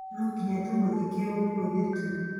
No nginya tũmũthike ũmũthĩ tu.